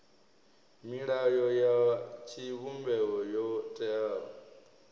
milayo ya tshivhumbeo yo teaho